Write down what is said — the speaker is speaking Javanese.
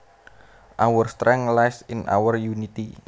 Our strength lies in our unity